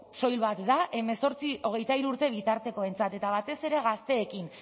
soil bat da hemezortzi hogeita hiru urte bitartekoentzat eta batez ere gazteekin